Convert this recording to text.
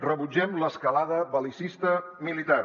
rebutgem l’escalada bel·licista militar